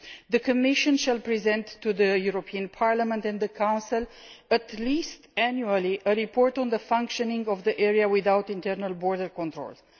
The Commission will present to the European Parliament and the Council, at least annually, a report on the functioning of the area without internal border controls.